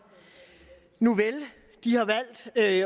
nuvel de har valgt at